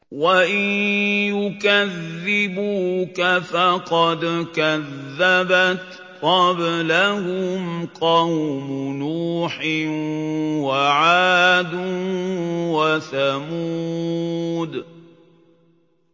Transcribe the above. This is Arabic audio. وَإِن يُكَذِّبُوكَ فَقَدْ كَذَّبَتْ قَبْلَهُمْ قَوْمُ نُوحٍ وَعَادٌ وَثَمُودُ